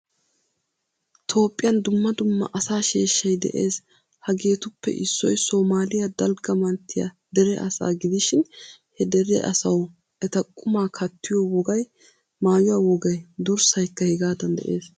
Toophphiyaan dumma dumma asaa sheeshshay de'ees. Hageetuppe issoy somaaliya dalgga manttiyaa dere asaa gidishin ha dere asawu eta qumma kattiyo wogaay, maayuwaa wogay, durssaykka hegaadan de'ees.